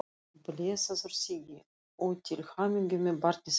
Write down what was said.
Blessaður Siggi, og til hamingju með barnið ykkar.